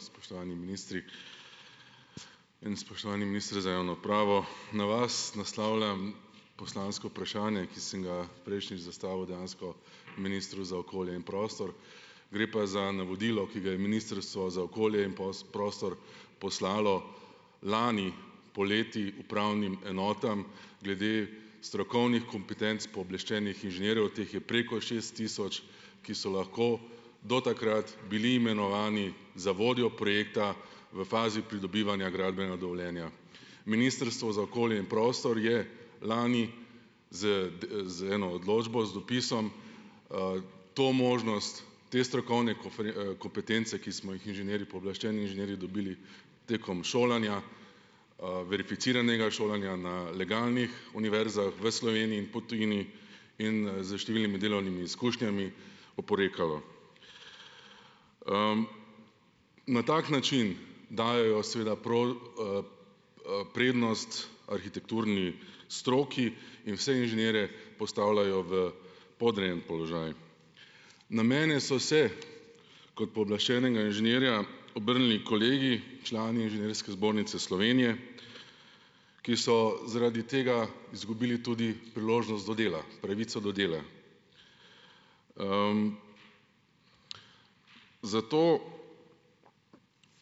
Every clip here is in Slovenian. Spoštovani ministri in spoštovani minister za javno upravo. Na vas naslavljam poslansko vprašanje, ki sem ga prejšnjič zastavil dejansko ministru za okolje in prostor. Gre pa za navodilo, ki ga je ministrstvo za okolje in prostor poslalo lani poleti upravnim enotam glede strokovnih kompetenc pooblaščenih inženirjev, teh je preko šest tisoč, ki so lahko do takrat bili imenovani za vodjo projekta v fazi pridobivanja gradbenega dovoljenja. Ministrstvo za okolje in prostor je lani z z eno odločbo z dopisom, to možnost, te strokovne kompetence, ki smo jih inženirji, pooblaščeni inženirji dobili tekom šolanja, verificiranega šolanja na legalnih univerzah v Sloveniji, po tujini in, s številnimi delovnimi izkušnjami, oporekalo. na tak način dajejo seveda prednost arhitekturni stroki in vse inženirje postavljajo v podrejen položaj. Na mene so se kot pooblaščenega inženirja, obrnili kolegi, člani Inženirske zbornice Slovenije, ki so zaradi tega izgubili tudi priložnost do dela, pravico do dela. zato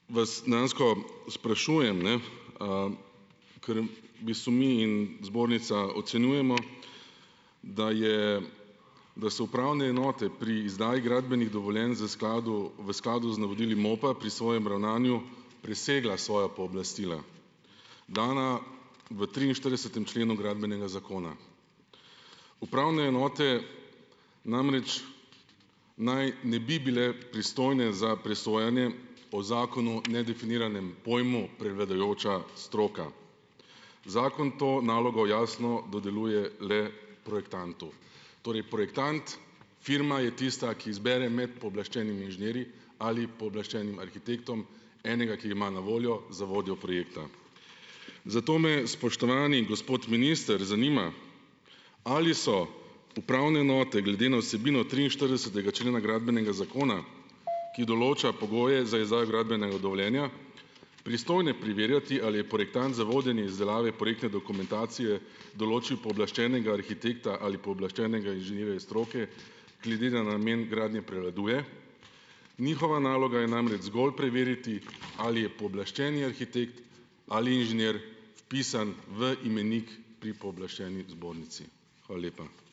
vas dejansko sprašujem, ne, ker v bistvu mi in zbornica ocenjujemo , da je, da so upravne enote pri izdaji gradbenih dovoljenj z skladu, v skladu z navodili MOP-a pri svojem ravnanju presegla svoja pooblastila, dana v triinštiridesetem členu Gradbenega zakona. Upravne enote namreč naj ne bi bile pristojne za presojanje po zakonu nedefiniranem pojmu prevladujoča stroka. Zakon to nalogo jasno dodeljuje le projektantu. Torej projektant, firma je tista, ki izbere med pooblaščenimi inženirji ali pooblaščenim arhitektom enega, ki ga ima na voljo za vodjo projekta. Zato me, spoštovani gospod minister, zanima, ali so upravne enote glede na vsebino triinštiridesetega člena Gradbenega zakona, ki določa pogoje za izdajo gradbenega dovoljenja, pristojne preverjati, ali je projektant za vodenje izdelave projektne dokumentacije določil pooblaščenega arhitekta ali pooblaščenega inženirja stroke glede na namen gradnje prevladuje? Njihova naloga je namreč zgolj preveriti, ali je pooblaščeni arhitekt ali inženir vpisan v imenik pri pooblaščeni zbornici. Hvala lepa.